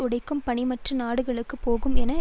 உடைக்கும் பணி மற்ற நாடுகளுக்குப் போகும் என